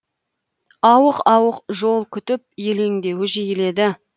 ауық ауық жол күтіп елеңдеуі жиіледі